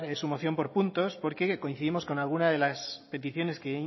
su moción por puntos porque coincidimos con algunas de las peticiones que